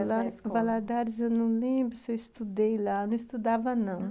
Eu lá em Valadares, eu não lembro se eu estudei lá, eu não estudava não.